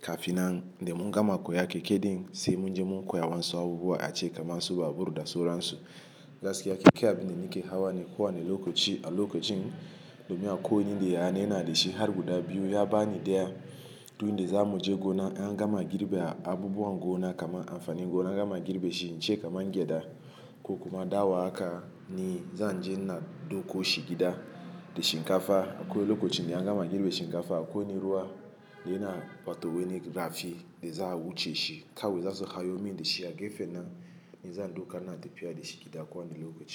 kafinan da mun gama koya keke din sai mun je mun koya waensu abubuwa ace kamar su babur da sauran su. Gaskiya keke abin da nake hawa ne kowani lokaci a lokacin, domin akwai wani inda yaya na yana da shi har guda biyu ya bani daya don da za mu je gona. An gama girbe abubuwan gona kamar amfanin gona an gama girbe shi ce kamar gyada ko kuma daowa haka ni zan je na ɗauko shi gida da shinkafa. Akwai lokacin da an gama girbe shinkafa akwai na ruwa. Da yana batowe ni rafi da za a wuce shi kawai. Zasu hayo min da shi a gefe nan ni zan ɗauka ina tafi da shi gida kowani lokaci.